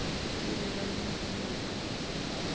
lebelo mme o nne o